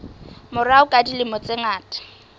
morao ka dilemo tse ngata